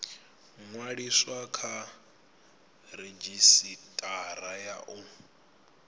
ṅwaliswa kha redzhisitara ya u